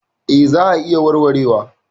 Eh za a iya warwarewa.